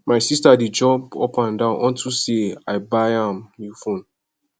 my sister dey jump up and down unto say i buy am new phone